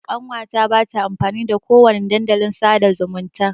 Ƙanwa ta ba ta amfani da ko wani dandalin sa'da zumunta.